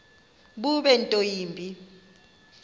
bube nto yimbi